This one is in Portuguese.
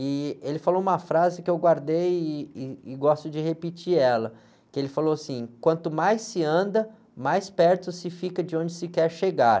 E ele falou uma frase que eu guardei, e, e gosto de repetir ela, que ele falou assim, quanto mais se anda, mais perto se fica de onde se quer chegar.